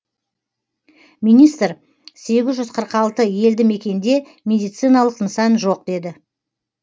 министр сегіз жүз қырық алты елді мекенде медициналық нысан жоқ деді